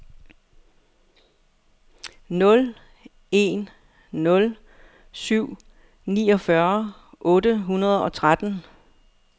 nul en nul syv niogfyrre otte hundrede og tretten